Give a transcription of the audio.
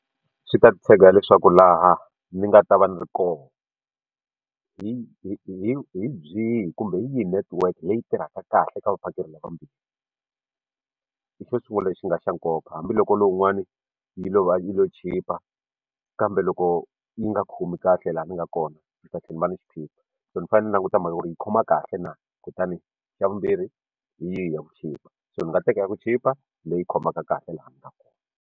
Swi ta tshega hileswaku laha ni nga ta va ni ri koho hi hi hi hi byihi kumbe hi yihi netiweke leyi tirhaka kahle eka vaphakeri lava vambirhi xo sungula lexi nga xa nkoka hambiloko lowun'wani yi lova yo chipa kambe loko yi nga khomi kahle laha ni nga kona ndzi ta tlhela ni va ni xiphiqo so ni fanele ni yi languta mhaka ya ku ri yi khoma kahle na kutani xa vumbirhi hi yihi ya ku chipa so ni nga teka ya ku chipa leyi khomaka kahle laha ni nga kona.